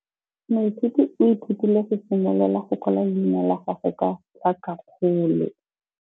Moithuti o ithutile go simolola go kwala leina la gagwe ka tlhakakgolo.